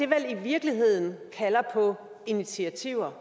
vel i virkeligheden på initiativer